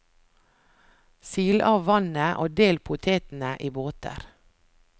Sil av vannet og del potetene i båter.